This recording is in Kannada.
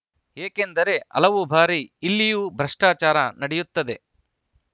ಏಕೆಂದರೆ ಹಲವು ಬಾರಿ ಇಲ್ಲಿಯೂ ಭ್ರಷ್ಟಾಚಾರ ನಡೆಯುತ್ತದೆ